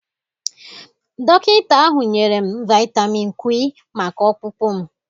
Dọkịta ahụ nyere m vitamịn Kwi maka ọkpụkpụ m.